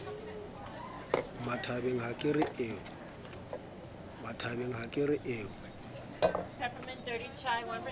mmathabang ha ke re o